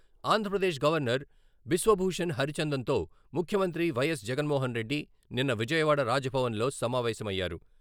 Andhra Pradesh governor Biswabhusan హరిచందన్తో ముఖ్యమంత్రి YS Jaganmohan Reddy నిన్న విజయవాడ రాజ్ భవన్లో సమావేశమయ్యారు.